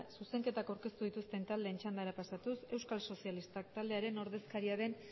zuzenketak aurkeztu dituzten taldeen txandara pasatuz euskal sozialistak taldearen ordezkaria den